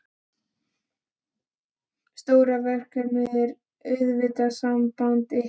Stóra verkefnið er auðvitað samband ykkar.